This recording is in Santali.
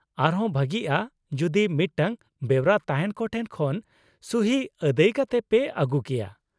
ᱟᱨᱦᱚᱸ ᱵᱷᱟᱹᱜᱤᱜᱼᱟ ᱡᱩᱫᱤ ᱢᱤᱫᱴᱟᱝ ᱵᱮᱣᱨᱟ ᱛᱟᱦᱮᱸᱱ ᱠᱚ ᱴᱷᱮᱱ ᱠᱷᱚᱱ ᱥᱩᱦᱤ ᱟᱹᱫᱟᱹᱭ ᱠᱟᱛᱮ ᱯᱮ ᱟᱹᱜᱩ ᱠᱮᱭᱟ ᱾